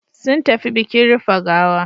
Sun tafi bikin rufe gawa.